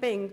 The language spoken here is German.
Weil